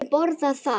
Hefurðu borðað þar?